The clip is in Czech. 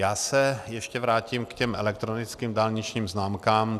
Já se ještě vrátím k těm elektronickým dálničním známkám.